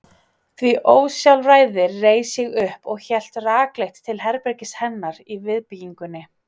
því ósjálfræði reis ég upp og hélt rakleitt til herbergis hennar í viðbyggingunni.